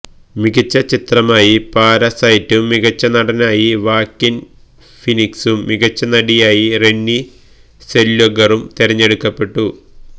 മികച്ച ചിത്രമായി പാരസൈറ്റും മികച്ച നടനായി വാക്കിന് ഫീനിക്സും മികച്ച നടിയായി റെനി സെല്വഗറും തെരഞ്ഞെടുക്കപ്പെട്ടു